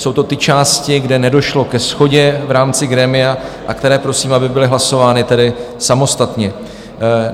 Jsou to ty části, kde nedošlo ke shodě v rámci grémia a které prosím, aby byly hlasovány tedy samostatně.